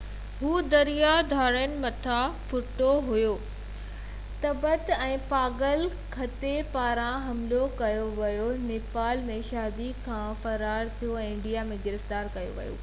هُو دريائي ڌاڙيلن هٿان ڦُريو ويو تبت ۾ پاگل ڪٿي پاران حملو ڪيو ويو نيپال ۾ شادي کان فرار ٿيو ۽ انڊيا ۾ گرفتار ڪيو ويو هو